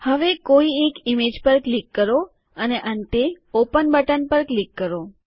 હવે કોઈ એક ઈમેજ પર ક્લિક કરો અને અંતે ઓપન બટન પર ક્લિક કરો